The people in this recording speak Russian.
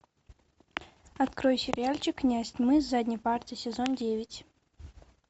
открой сериальчик князь тьмы с задней парты сезон девять